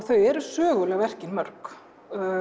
þau eru söguleg verkin mörg